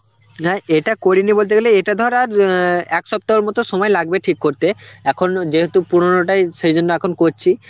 না এটা করিনি বলতে গেলে এটা ধর আর অ্যাঁ এক সপ্তাহ মতো সময় লাগবে ঠিক করতে এখন যেহুতু পুরনোটাই সেই জন্য এখন করছি